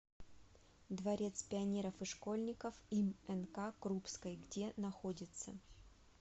дворец пионеров и школьников им нк крупской где находится